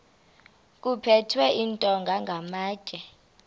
kuphethwe iintonga namatye